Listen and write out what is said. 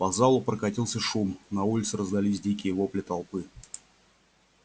по залу прокатился шум на улице раздались дикие вопли толпы